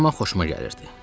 Amma xoşuma gəlirdi.